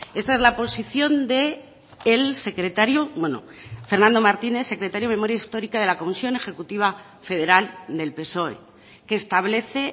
esa es la posición del secretario bueno fernando martínez secretario de memoria histórica de la comisión ejecutiva federal del psoe que establece